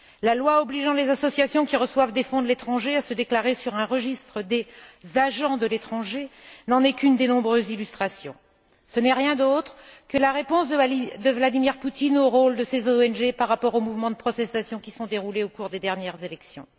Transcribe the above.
La loi obligeant les associations qui reçoivent des fonds de l'étranger à se déclarer sur un registre des agents de l'étranger n'en est qu'une des nombreuses illustrations. Ce n'est rien d'autre que la réponse de Vladimir Poutine au rôle de ces ONG dans les mouvements de protestation qui ont eu lieu au cours des dernières élections.